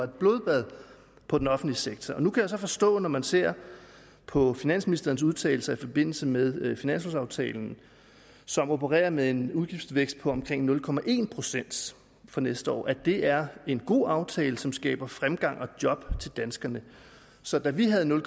blodbad på den offentlige sektor nu kan jeg så forstå når man ser på finansministerens udtalelser i forbindelse med finanslovaftalen som opererer med en udgiftsvækst på omkring nul procent for næste år at det er en god aftale som skaber fremgang og job til danskerne så da vi havde nul